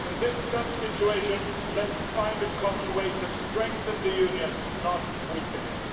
In this tough situation, let us find a common way to strengthen the Union, not weaken it.